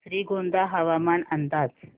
श्रीगोंदा हवामान अंदाज